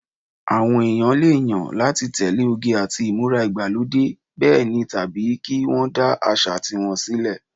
Àwọn èèyàn lè yàn láti tẹ̀lé oge àti ìmúra ìgbàlódé bẹ́ẹ̀ ni tàbí kí wọ́n dá àṣà ti wọn sílẹ̀